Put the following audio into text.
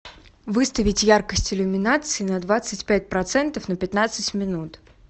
выставить яркость иллюминации на двадцать пять процентов на пятнадцать минут